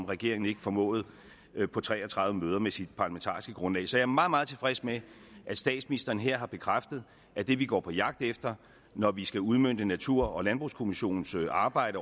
regeringen ikke formåede på tre og tredive møder med sit parlamentariske grundlag så jeg er meget meget tilfreds med at statsministeren her har bekræftet at det vi går på jagt efter når vi skal udmønte natur og landbrugskommissionens arbejde